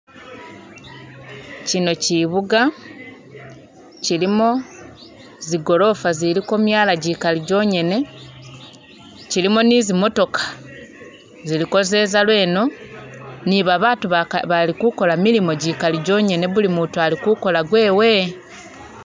Chino chibuga chilimo zigorofa ziliko myaala chigali chongene chilimo ni zimotoka ziliko zeeza lweno ni babaatu bali kukoola milimo kikali jongene, buli mutu ali kukoola gwewe